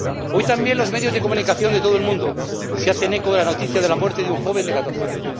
Hoy también los medios de comunicación de todo el mundo se hacen eco de la noticia de la muerte de un joven de catorce años.